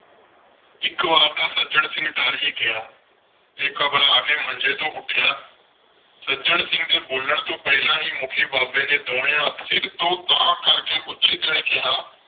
ਇਕ ਵਾਰ ਤਾਂ ਸੱਜਣ ਸਿੰਘ ਡਰ ਹੀ ਗਿਆ ਤੇ ਘਬਰਾ ਕੇ ਮੰਜੇ ਤੋਂ ਉੱਠਿਆ। ਸੱਜਣ ਸਿੰਘ ਦੇ ਬੋਲਣ ਤੋਂ ਪਹਿਲਾਂ ਹੀ ਮੁੱਖੀ ਬਾਬੇ ਨੇ ਦੋਵੇਂ ਹੱਥ ਸਿਰ ਤੋਂ ਤਾਂਹ ਕਰਕੇ ਉੱਚੀ ਜਿਹੇ ਕਿਹਾ।